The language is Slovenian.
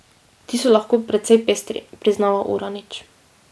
Ti so lahko precej pestri, priznava Uranič.